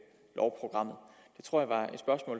tror